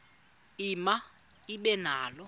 ema ibe nalo